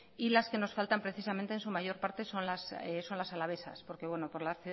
y las que nos faltan precisamente en su mayor parte son las alavesas porque por la